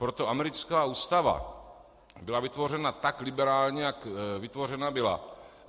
Proto americká ústava byla vytvořena tak liberálně, jak vytvořena byla.